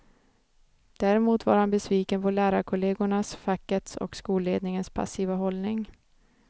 Däremot var han besviken på lärarkollegornas, fackets och skolledningens passiva hållning.